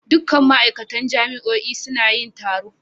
Dukkan ma'aikatan jami'o'in suna yin taro.